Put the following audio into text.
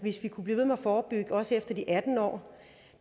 vi kunne blive ved med at forebygge også efter de atten år